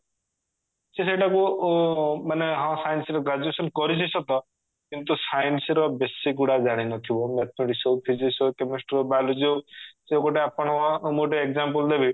ସେ ସେଇଟାକୁ ଉଁ ମାନେ ଆମ science ର graduation କରିଛି ସତ କିନ୍ତୁ science ର basic ଗୁଡା ଜାଣିନଥିବ mathematics ହଉ physics ହଉ chemistry ହଉ biology ହଉ ସେ ଗୋଟେ ଆପଣଙ୍କୁ ମୁଁ ଗୋଟେ example ଦେବି